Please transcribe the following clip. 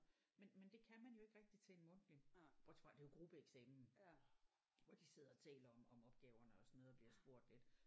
Men men det kan man jo ikke rigtig til en mundtlig bortset fra det er jo gruppeeksamen hvor de sidder og taler om om opgaverne og sådan noget og bliver spurgt lidt